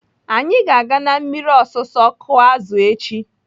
Anyị ga-aga na mmiri ọsụsụ kụọ azụ echi.